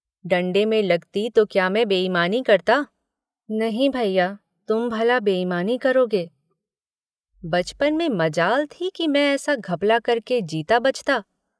डण्डे में लगती तो क्या मैं बेईमानी करता नहीं भैया तुम भला बेईमानी करोगे बचपन में मजाल थी कि मैं ऐसा घपला करके जीता बचता।